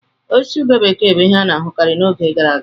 Osisi ube bekee bụ ihe a na-ahụkarị n'oge gara aga.